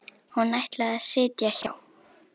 Hún ætlaði að sitja hjá.